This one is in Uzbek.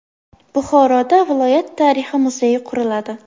Buxoroda viloyat tarixi muzeyi quriladi.